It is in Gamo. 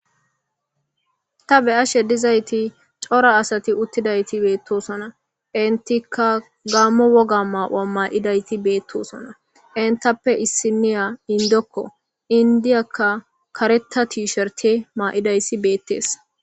Ta be7ashe dizayti cora asti uttidayti beetosona. Enttika gaamo woga mayo mayidayiti beetosona. Enttappe issiniya inddokko, inddiyaka kareththa t- sherte mayidayssi beetes.